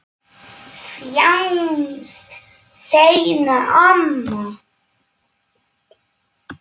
Sjáumst seinna, amma.